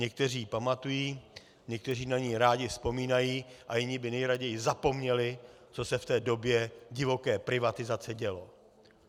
Někteří ji pamatují, někteří na ni rádi vzpomínají a jiní by nejraději zapomněli, co se v té době divoké privatizace dělo.